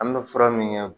An bɛ fura min kɛ